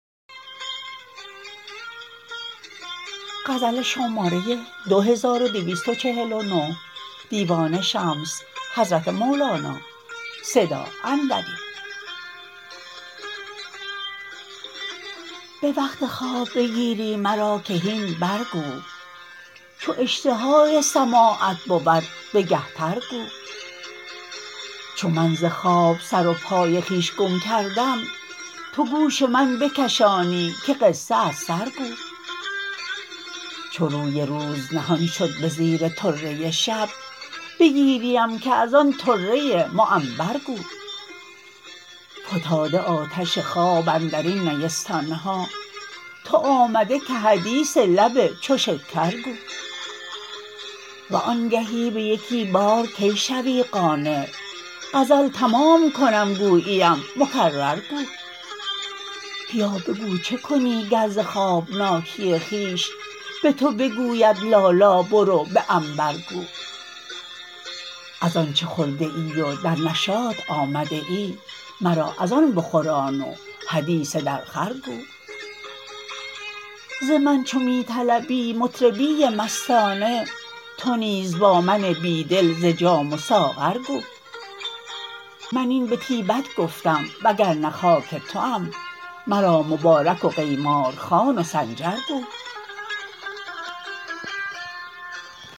به وقت خواب بگیری مرا که هین برگو چو اشتهای سماعت بود بگه تر گو چو من ز خواب سر و پای خویش گم کردم تو گوش من بگشایی که قصه از سر گو چو روی روز نهان شد به زیر طره شب بگیریم که از آن طره معنبر گو فتاده آتش خواب اندر این نیستان ها تو آمده که حدیث لب چو شکر گو و آنگهی به یکی بار کی شوی قانع غزل تمام کنم گوییم مکرر گو بیا بگو چه کنی گر ز خوابناکی خویش به تو بگوید لالا برو به عنبر گو از آنچ خورده ای و در نشاط آمده ای مرا از آن بخوران و حدیث درخور گو ز من چو می طلبی مطربی مستانه تو نیز با من بی دل ز جام و ساغر گو من این به طیبت گفتم وگر نه خاک توام مرا مبارک و قیماز خوان و سنجر گو